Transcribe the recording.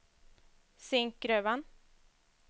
Zinkgruvan